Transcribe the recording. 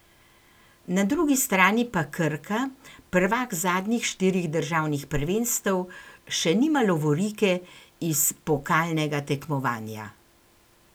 Na drugi strani pa Krka, prvak zadnjih štirih državnih prvenstev, še nima lovorike iz pokalnega tekmovanja.